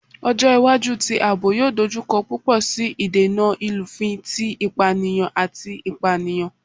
Ọjọ iwaju ti aabo yoo dojukọ pupọ si idena ilufin ti ipaniyan ati ipaniyan